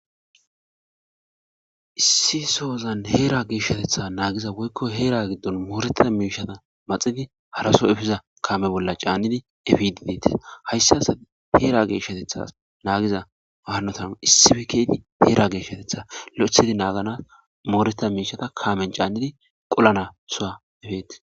Issi sozan hera geshatetha nagiza woykon hera gidon moretida mishata maxidi haraso epiza kame bolla c'anidi epidi detes haysas Hera geshatetha nagiza wanati issippe kezidi hera geshetetha lo'ithidi Nagana moretida mishata Kamen c'anidi qolanasuwa eppetes.